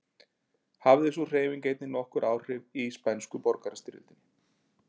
Hafði sú hreyfing einnig nokkur áhrif í spænsku borgarastyrjöldinni.